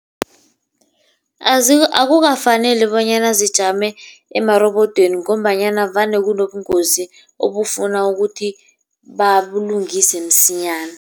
Akukafaneli bonyana zijame emarobodweni ngombanyana vane kunobungozi obufana ukuthi babulungise msinyana.